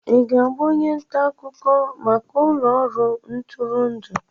Ị ga-abụ onye nta akụkọ maka ụlọ ọrụ ntụrụndụ?